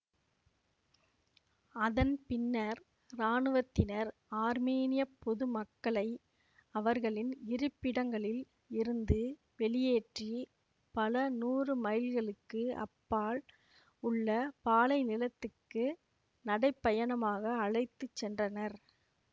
அதன் பின்னர் இராணுவத்தினர் ஆர்மீனியப் பொதுமக்களை அவர்களின் இருப்பிடங்களில் இருந்து வெளியேற்றி பல நூறு மைல்களுக்கு அப்பால் உள்ள பாலைநிலத்துக்கு நடைப்பயணமாக அழைத்து சென்றனர்